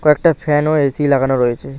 একটা ফ্যান ও এ_সি লাগানো রয়েছে।